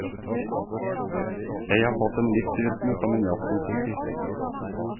Jeg har fått en livsrytme som en jazzmusiker.